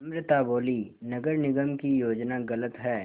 अमृता बोलीं नगर निगम की योजना गलत है